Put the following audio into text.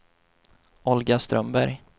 Olga Strömberg